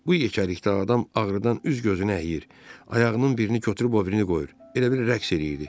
Bu yekəlikdə adam ağrıdan üz gözünü əyir, ayağının birini götürüb o birini qoyur, elə bil rəqs eləyirdi.